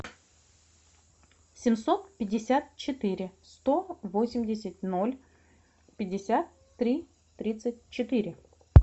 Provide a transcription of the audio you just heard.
семьсот пятьдесят четыре сто восемьдесят ноль пятьдесят три тридцать четыре